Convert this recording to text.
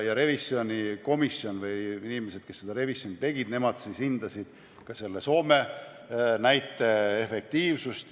Revisjonikomisjon või inimesed, kes seda revisjoni tegid, siis hindasid ka selle Soome näite efektiivsust.